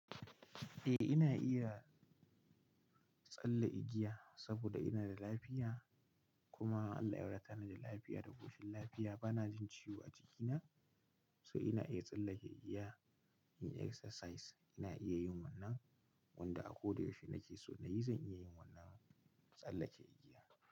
Eh, ina iya tsalle igiya saboda ina da lafiya. Kuma Allah ya wadatani da lafiya da koshin lafiya. Bana jin ciwo a jikina, so ina iya tsallake igiya, yin exercise ina iya yin wannan. Wanda a ko da yaushe nake so na yi, zan iya yin wannan, tsallake igiya.